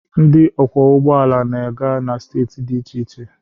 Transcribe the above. ndị ọkwọ ụgbọ ala na-aga na steeti dị iche iche.